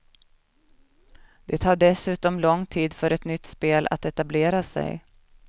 Det tar dessutom lång tid för ett nytt spel att etablera sig.